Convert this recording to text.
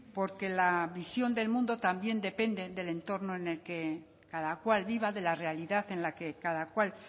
porque la visión del mundo también depende del entorno en el que cada cual viva de la realidad en la que cada cual